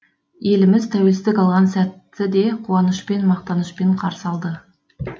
еліміз тәуелсіздік алған сәтті де қуанышпен мақтанышпен қарсы алды